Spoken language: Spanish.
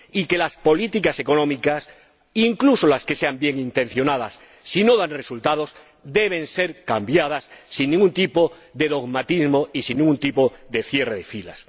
Y que las políticas económicas, incluso las que sean bienintencionadas, si no dan resultados, deben ser cambiadas sin ningún tipo de dogmatismo y sin ningún tipo de cierre de filas.